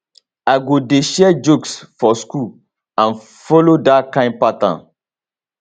i go dey share jokes for school and follow dat kain pattern